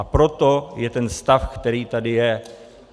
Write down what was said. A proto je ten stav, který tady je.